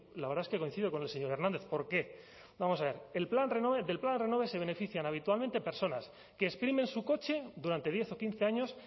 la verdad es que coincido con el señor hernández por qué vamos a ver del plan renove se benefician habitualmente personas que exprimen su coche durante diez o quince años